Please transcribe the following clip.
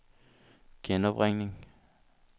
genopringning